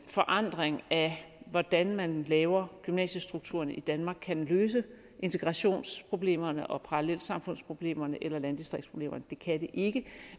forandringer af hvordan man laver gymnasiestrukturerne i danmark kan løse integrationsproblemerne og parallelsamfundsproblemerne eller landdistriktsproblemerne det kan de ikke